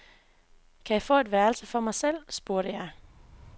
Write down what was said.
Kan jeg få et værelse for mig selv, spurgte jeg.